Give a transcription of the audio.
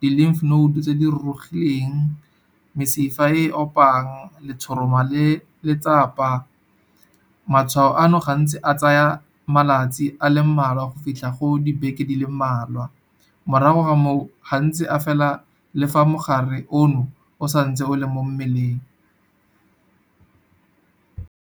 di-lymph node tse di rurugileng, mesifa e opang letshoroma le letsapa. Matshwao ano gantsi a tsaya malatsi a le mmalwa go fitlha go dibeke di le mmalwa, morago ga moo gantsi a fela le fa mogare ono o santse o le mo mmeleng.